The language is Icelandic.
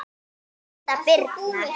Þín Hulda Birna.